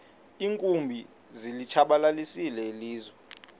iinkumbi zilitshabalalisile ilizwe